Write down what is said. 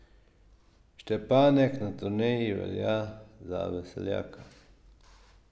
Štepanek na turneji velja za veseljaka.